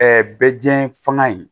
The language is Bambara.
bɛ diɲɛ fanga in